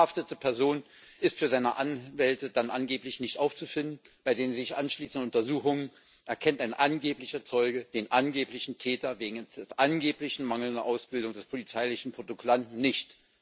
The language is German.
Die verhaftete Person ist für ihre Anwälte dann angeblich nicht aufzufinden. Bei den sich anschließenden Untersuchungen erkennt ein angeblicher Zeuge den angeblichen Täter wegen einer angeblichen mangelnden Ausbildung des polizeilichen Protokollanten nicht.